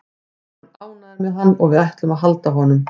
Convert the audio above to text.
Við erum ánægðir með hann og við ætlum að halda honum.